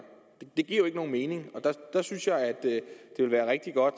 det giver jo ikke nogen mening og der synes jeg at det vil være rigtig godt